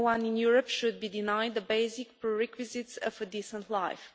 No one in Europe should be denied the basic prerequisites for a decent life.